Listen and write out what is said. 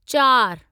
चारि